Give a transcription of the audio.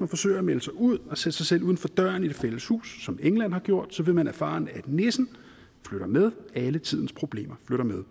man forsøger at melde sig ud og sætte sig selv uden for døren i det fælles hus som england har gjort vil man erfare at nissen flytter med alle tidens problemer flytter med